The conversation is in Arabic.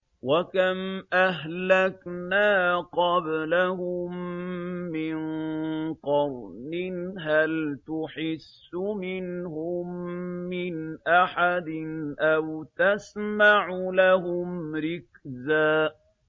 وَكَمْ أَهْلَكْنَا قَبْلَهُم مِّن قَرْنٍ هَلْ تُحِسُّ مِنْهُم مِّنْ أَحَدٍ أَوْ تَسْمَعُ لَهُمْ رِكْزًا